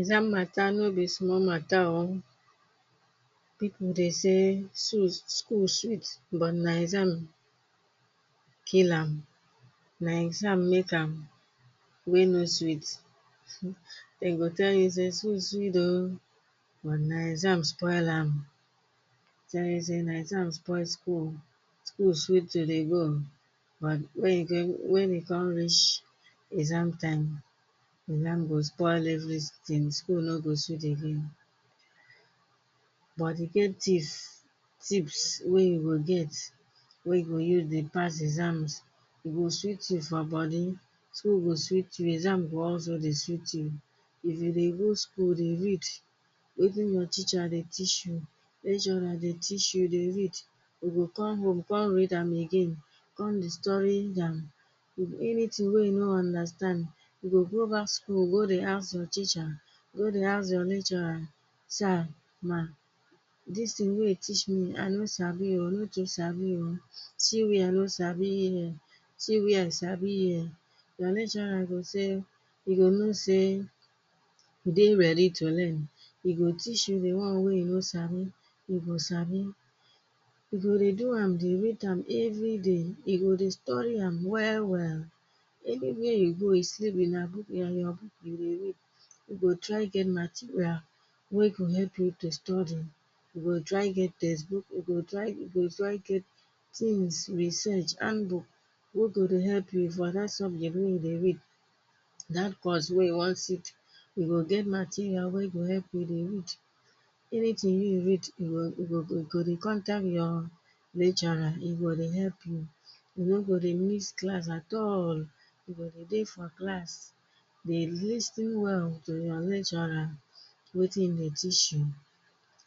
Exam matter no be small matter o. Pipu de say suit school sweet but na exam kill am. Na exam make am wey no sweet, dem go tell you say sweet sweet o, but na exam spoil am. Den e say na exam spoil school. School sweet e dey go, but when e dey when we come reach exam time. Exam go spoil everytins in school no go sweet again. But to get tips, tips wey you go get. Wey you go use dey pass exams, e go sweet you for body, school go sweet you exam go also dey sweet you. If you dey go school dey read wetin dey teacher dey teach you. What una dey teach you dey read. E go come home come read am again, come dey study am. If anytin wey e no dey understand, e go go back school go dey ask your teacher. Go dey ask dey your lecturer. Sir ma, dis tin wey dey teach me i no sabi o, no sabi o. See where no sabi here. See where sabi here. Di lecturer e go say, e go now say, you dey ready to learn e go teach you di one wey you no sabi. you go sabi. If you dey do am dey wait am everyday. e go dey study am well well. Anywhere you go you slept with your book and your book you go read. You go try get material wey go help you to study. You go try get text book, you go try get, you go try get, tins research hand book wey go dey help you for dat wey dey read. Dat course wey you want sit, you go get material wey go help you dey read, anytin wey you read e go e go go dey contact dat lecturer ego dey help you. E no go dey missed class at all, you go dey dey your class dey lis ten well to your lecturer. Wetin e dey teach you.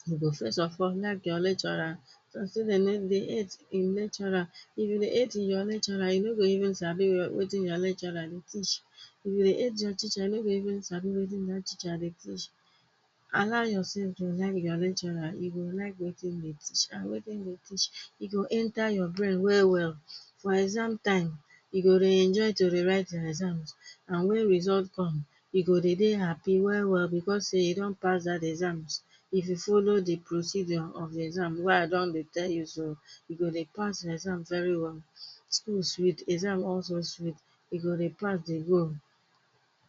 You go first of all like your lecturer. Dem say hate di lecturer. If you dey hate your lecturer, you no go even sabi wetin your lecturer dey teach. If you dey hate your teacher, you no go even sabi wetin that teacher dey teach. Allow yourself to like your lecturer. He go like wetin he dey teach, and wetin he dey teach, he go enter your brain well-well. For exam time, you go dey enjoy to dey write your exams. And when result come, you go dey happy well-well because say you don pass that exams. If you follow the procedure of the exam wey I don dey tell you so, you go dey pass your exam very well. School sweet, exam also sweet. You go dey pass dey go.